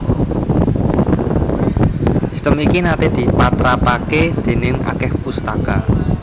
Sistem iki naté dipatrapaké déning akèh pustaka